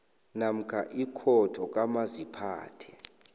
namkha ikhotho kamaziphathe